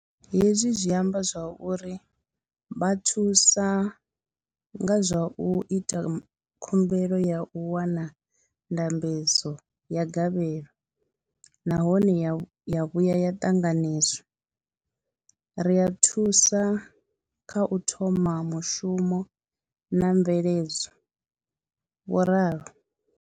Hezwi zwi amba uri ri vha thusa nga zwa u ita khumbelo ya u wana ndambedzo ya gavhelo nahone ya vhuya ya ṱanganedzwa, ri a vha thusa kha u thoma mushumo na mveledzo, vho ralo.